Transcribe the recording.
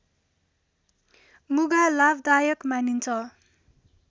मुगा लाभदायक मानिन्छ